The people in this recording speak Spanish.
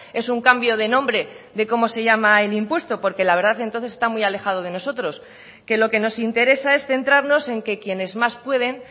es un cambio de nombre de cómo se llama el impuesto porque la verdad entonces está muy alejado de nosotros que lo que nos interesa es centrarnos en que quienes más pueden